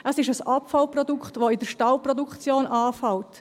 Es ist ein Abfallprodukt, das in der Stahlproduktion anfällt.